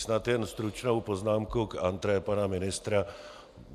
Snad jen stručnou poznámku k entrée pana ministra.